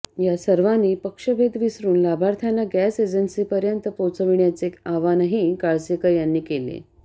यात सर्वांनी पक्षभेद विसरून लाभार्थ्यांना गॅस एजन्सीपर्यंत पोहोचविण्याचे आवाहनही काळसेकर यांनी केले